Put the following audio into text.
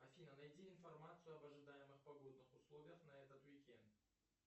афина найди информацию об ожидаемых погодных условиях на этот уикенд